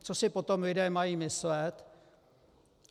Co si potom lidé mají myslet?